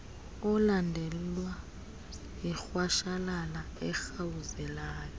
olandelwa yirhwashalala erhawuzelayo